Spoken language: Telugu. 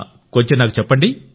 కొంచెం నాకు చెప్పండి